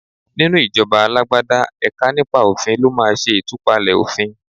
Nínú ìjọba alágbádá, ẹ̀ka nípa òfin ló máa ṣẹ ìtúpalẹ̀ òfìn.